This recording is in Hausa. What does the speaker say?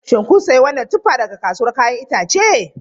Shin kun sayi wannan tuffa daga kasuwar 'ya'yan itace?